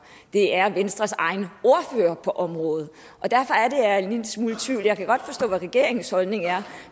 det er venstres egen ordfører på området og derfor er det jeg er en lille smule i tvivl jeg kan godt forstå hvad regeringens holdning er